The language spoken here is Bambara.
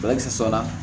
Ala kisɛ saba